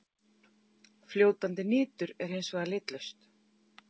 Fljótandi nitur er hins vegar litlaust.